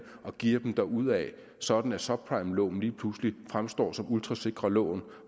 og geare dem derudaf sådan at subprimelån lige pludselig fremstår som ultra sikre lån